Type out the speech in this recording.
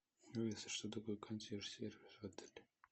алиса что такое консьерж сервис в отеле